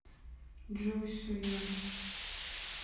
джой сояна